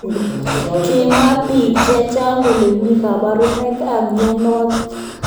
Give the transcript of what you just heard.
Kimwa bik cheingen kole mi kaburunoik ab mnyenotok.